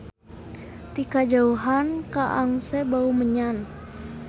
Ti kajauhan kaangse bau menyan.